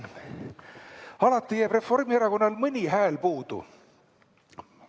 Alati jääb Reformierakonnal mõni hääl puudu.